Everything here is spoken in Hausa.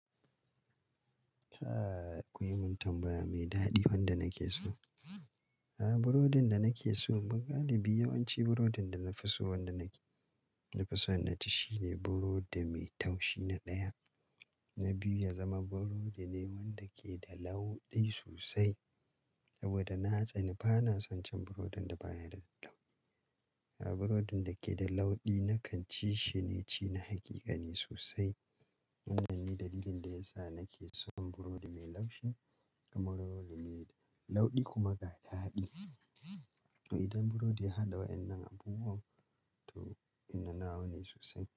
Kai, kun yi min tambaya mai daɗi wanda nake so. A'a burodin da nake so, mu galibi yawanci burodin da na fi so wanda na fi so na ci shine burodi mai taushi na ɗaya, na biyu ya zama burodi ne wanda ke da launi sosai saboda na tsani. Ba na son cin burodin da baya da launi. A'a burodin da ke da laudi nakan ci shi ne ci na hakika ne sosai. Wannan ne dalilin da ya sa nake son burodi mai laushi kamar burodi mai laudi kuma ga da daɗi. To idan burodi ya haɗa waɗannan abubuwan, to ina nawa ne sosai.